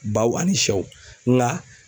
Baw ani sɛw ŋa